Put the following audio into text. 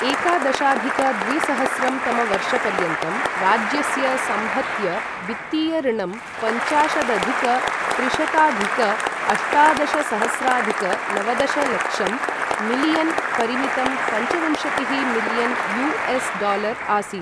एकादशाधिक द्विसहस्रं तमवर्षपर्यन्तं राज्यस्य संहत्य वित्तीय ऋणं पञ्चाशदधिक त्रिशताधिक अष्टादशसहस्राधिक नवदशलक्षं मिलियन् परिमितम् पञ्चविंशतिः मिलियन् यू.एस्. डालर् आसीत्।